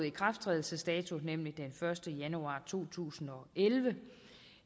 ikrafttrædelsesdato nemlig den første januar to tusind og elleve